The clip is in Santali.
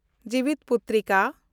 ᱡᱤᱣᱤᱛᱯᱩᱴᱨᱤᱠᱟ